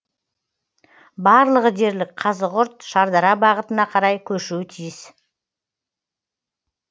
барлығы дерлік қазығұрт шардара бағытына қарай көшуі тиіс